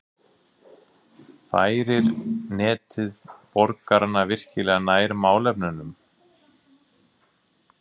færir netið borgarana virkilega nær málefnunum